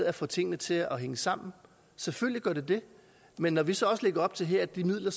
at få tingene til at hænge sammen selvfølgelig gør det det men når vi så også her lægger op til at de midler